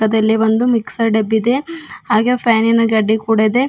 ಇದಲ್ಲಿ ಒಂದು ಮಿಕ್ಸರ್ ಡೆಬ್ಬಿದೆ ಹಾಗೆ ಫ್ಯಾನ್ ಇನ ಗಡ್ಡೆ ಕೂಡ ಇದೆ.